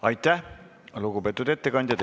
Aitäh, lugupeetud ettekandja!